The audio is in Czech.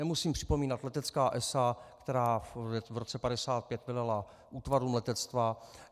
Nemusím připomínat letecká esa, která v roce 1955 velela útvarům letectva.